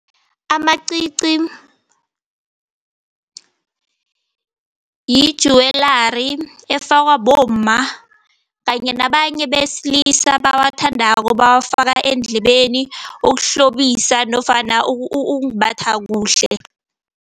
Amacici yijuwelari efakwa bomma kanye nabanye besilisa abawathandako, bawafaka eendlebeni ukuhlobisa nofana ukumbatha kuhle.